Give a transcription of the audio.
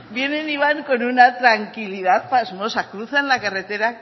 vienen y van con una tranquilidad pasmosa cruzan la carretera